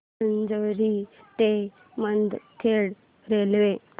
माजरी ते मुदखेड रेल्वे